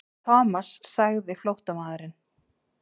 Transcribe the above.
Thomas sagði flóttamaðurinn.